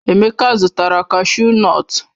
Emeka zụtara kashu nọtu.